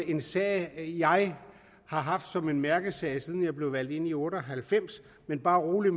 en sag jeg har haft som en mærkesag siden jeg blev valgt ind i nitten otte og halvfems men bare rolig